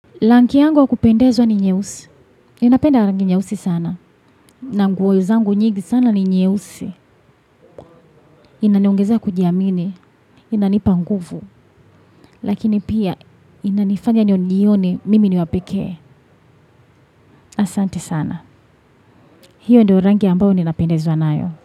Rangi yangu ya kupendezwa ni nyeusi, ninapenda rangi nyeusi sana na nguo zangu nyingi sana ni nyeusi. Inaniongeza kujiamini, inanipa nguvu. Lakini pia inanifanya nijione mimi niwapekee. Asante sana. Hiyo ndio rangi ambayo ninapendezwa nayo.